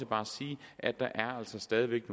bare sige at der altså stadig væk